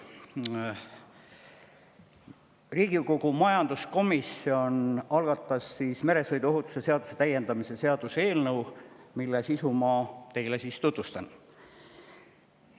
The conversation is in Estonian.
Riigikogu majanduskomisjon algatas meresõiduohutuse seaduse täiendamise seaduse eelnõu, mille sisu ma teile tutvustan.